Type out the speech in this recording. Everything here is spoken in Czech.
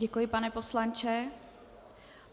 Děkuji, pane poslanče.